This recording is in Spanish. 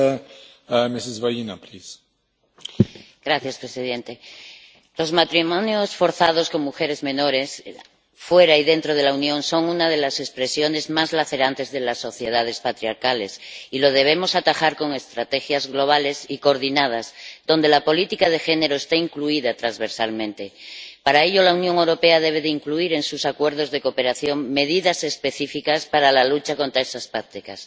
Señor presidente, los matrimonios forzados de mujeres menores, fuera y dentro de la Unión, son una de las expresiones más lacerantes de las sociedades patriarcales, y los debemos atajar con estrategias globales y coordinadas donde la política de género esté incluida transversalmente. Para ello, la Unión Europea debe incluir en sus acuerdos de cooperación medidas específicas para la lucha contra esas prácticas.